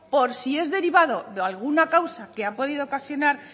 por si es derivado de alguna causa que ha podido ocasionar